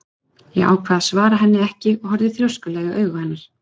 Ég ákvað að svara henni ekki en horfði þrjóskulega í augu hennar.